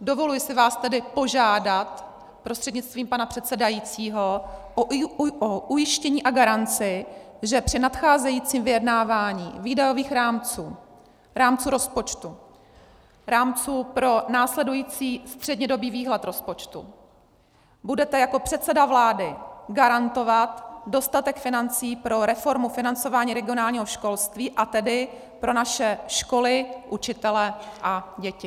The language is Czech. Dovoluji si vás tedy požádat prostřednictvím pana předsedajícího o ujištění a garanci, že při nadcházejícím vyjednávání výdajových rámců, rámců rozpočtu, rámců pro následující střednědobý výhled rozpočtu, budete jako předseda vlády garantovat dostatek financí pro reformu financování regionálního školství, a tedy pro naše školy, učitele a děti.